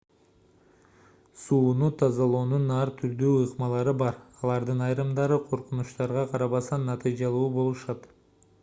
сууну тазалоонун ар түрдүү ыкмалары бар алардын айрымдары коркунучтарга карабастан натыйжалуу болушат